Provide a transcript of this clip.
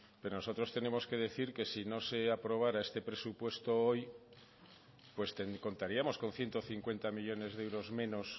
pero nosotros tenemos que decir que si no se aprobara este presupuesto hoy pues contaríamos con ciento cincuenta millónes de euros menos